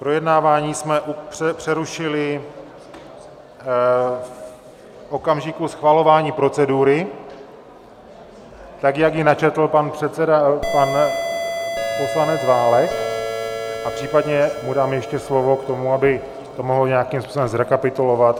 Projednávání jsme přerušili v okamžiku schvalování procedury, tak jak ji načetl pan předseda, pan poslanec Válek, a případně mu dám ještě slovo k tomu, aby to mohl nějakým způsobem zrekapitulovat.